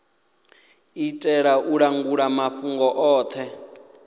itela u langula mafhungo othe